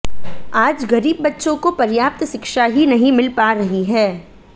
आज गरीब बच्चों को पर्याप्त शिक्षा ही नहीं मिल पा रही है